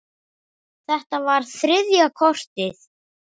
Þetta var þriðja kortið.